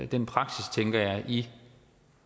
den praksis tænker jeg i